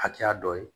Hakɛya dɔ ye